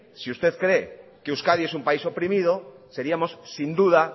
si usted cree que euskadi es un país oprimido seríamos sin duda